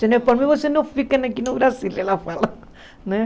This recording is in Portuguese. Se não é por mim, vocês não ficam aqui no Brasil, que ela fala né.